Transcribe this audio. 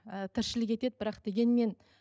ііі тіршілік етеді бірақ дегенмен